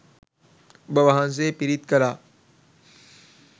ඔබ වහන්සේ පිරිත් කළා